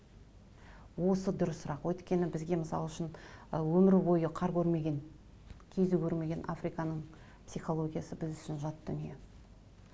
осы дұрысырақ өйткені бізге мысал үшін ы өмір бойы қар көрмеген көрмеген африканың психологиясы біз үшін жат дүние